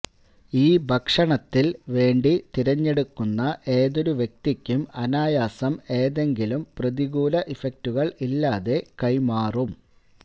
ഈ ഭക്ഷണത്തിൽ വേണ്ടി തിരഞ്ഞെടുക്കുന്ന ഏതൊരു വ്യക്തിക്കും അനായാസം ഏതെങ്കിലും പ്രതികൂല ഇഫക്ടുകൾ ഇല്ലാതെ കൈമാറും